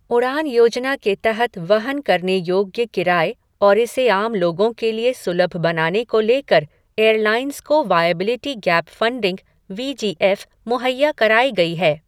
उड़ान योजना के तहत वहन करने योग्य किराये और इसे आम लोगों के लिए सुलभ बनाने को लेकर एयरलाइंस को viability gap funding V G F मुहैया कराई गई है।